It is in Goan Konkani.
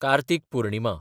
कार्तीक पुर्णिमा